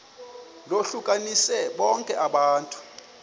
lohlukanise bonke abantu